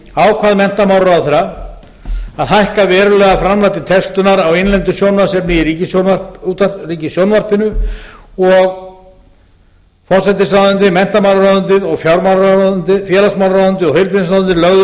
ákvað menntamálaráðherra að hækka verulega framlag til textunar á innlendu sjónvarpsefni í ríkissjónvarpinu forsætisráðuneyti menntamálaráðuneyti félagsmálaráðuneyti og heilbrigðisráðuneyti lögðu